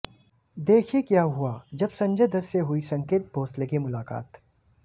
देखिए क्या हुआ जब संजय दत्त से हुई संकेत भोंसले की मुलाकात